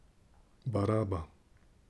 Baraba.